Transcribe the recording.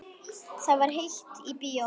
Það var heitt í bíóinu.